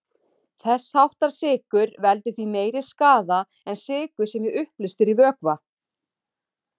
Þess háttar sykur veldur því meiri skaða en sykur sem er uppleystur í vökva.